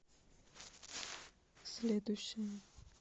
следующая